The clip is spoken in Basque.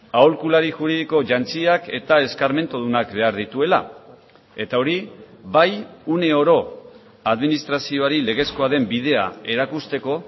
aholkulari juridiko jantziak eta eskarmentudunak behar dituela eta hori bai une oro administrazioari legezkoa den bidea erakusteko